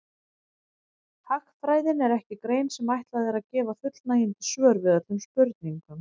Hagfræðin er ekki grein sem ætlað er að gefa fullnægjandi svör við öllum spurningum.